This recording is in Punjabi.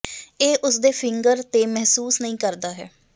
ਇਹ ਉਸ ਦੇ ਫਿੰਗਰ ਤੇ ਮਹਿਸੂਸ ਨਹੀ ਕਰਦਾ ਹੈ